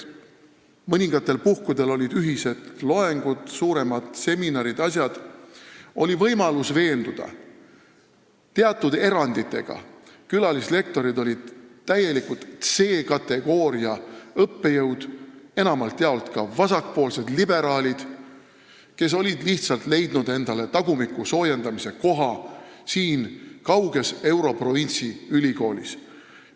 Mõningatel puhkudel olid meil ühised loengud ja suuremad seminarid, nii et oli võimalus veenduda, et teatud eranditega olid külalislektorid täielikult C-kategooria õppejõud, enamalt jaolt ka vasakpoolsed liberaalid, kes olid lihtsalt leidnud endale tagumiku soojendamise koha siin kauges europrovintsi ülikoolis.